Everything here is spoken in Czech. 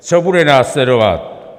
Co bude následovat?